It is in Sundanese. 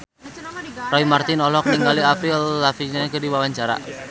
Roy Marten olohok ningali Avril Lavigne keur diwawancara